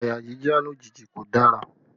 Àyà jíjá lójijì kò dára